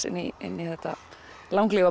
inn í inn í þetta